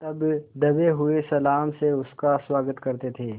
तब दबे हुए सलाम से उसका स्वागत करते थे